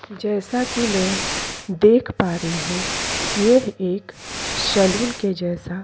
जैसा कि मैं देख पा रही हूं ये एक सलून के जैसा--